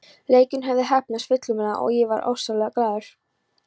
Leikurinn hafði heppnast fullkomlega og ég var ofsaglaður.